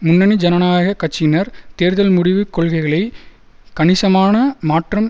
முன்னணி ஜனநாயக கட்சியினர் தேர்தல் முடிவு கொள்கைகளை கணிசமான மாற்றம்